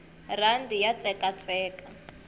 rhandi ya tsekatseka